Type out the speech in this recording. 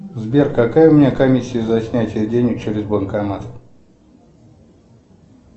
сбер какая у меня комиссия за снятие денег через банкомат